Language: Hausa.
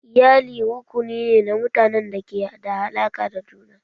Iyali rukuni ne na mutanen da ke da alaƙa da juna.